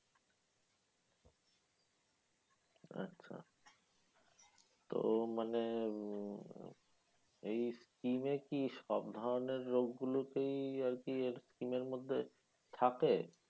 আচ্ছা। তো মানে উম এই scheme এ কি সব ধরনের রোগ গুলো তেই আরকি এই scheme এর মধ্যে থাকে?